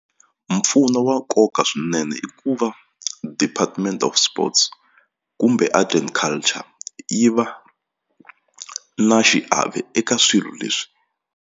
Mpfuno wa nkoka swinene i ku va department of sports kumbe art and culture yi va na xiave eka swilo leswi.